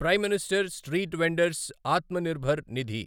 prime minister street vendor's Atmanirbhar Nidhi